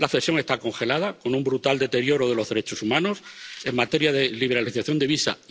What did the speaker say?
La exención está congelada, con un brutal deterioro de los derechos humanos, en materia de liberalización de visas.